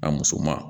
A musoman